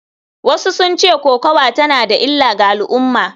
Wasu sun ce kokawa tana da illa ga al’umma.